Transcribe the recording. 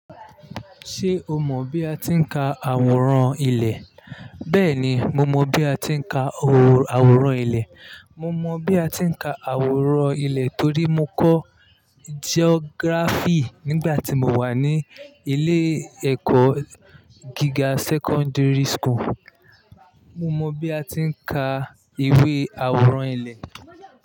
Ṣé o mọ̀ bí a ti ń ka àwòrán ilẹ̀? Bẹ́ẹ̀ni, mo mọ bí a ti ń ka àwòrán ilẹ̀. Mo mọ bí a ti ń ka àwòrán ilẹ̀ torí mo kọ́ geography nígbà tí mo wà ní ilé-ẹ̀kọ́ gíga secondary school. Mo mọ bí a ti ń ka ìwé àwòrán ilẹ̀.